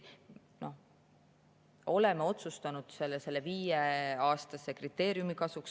Oleme otsustanud selle viieaastase kriteeriumi kasuks.